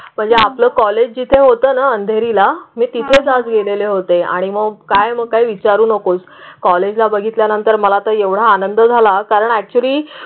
म्हणजे आपलं कॉलेज जिथे होतं ना अंधेरीला मी तिथेच गेलेले होते आणि मग काय मग काही विचारू नकोस. कॉलेजला बघितल्यानंतर मला आता एवढा आनंद झाला कारण ऍक्च्युली